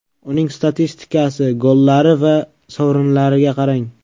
Uning statistikasi, gollari va sovrinlariga qarang.